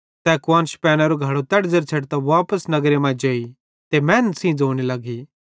तै कुआन्श पैनेरो घड़ो तैड़ी छ़ेडतां वापस नगर मां जेई ते मैनन् सेइं ज़ोने लगी